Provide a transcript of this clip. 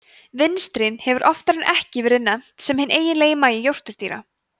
vinstrin hefur oftar en ekki verið nefnt hinn eiginlegi magi jórturdýra